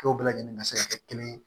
Dɔw bɛɛ lajɛlen ka se ka kɛ kelen ye